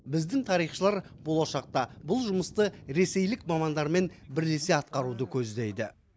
біздің тарихшылар болашақта бұл жұмысты ресейлік мамандармен бірлесе атқаруды көздейді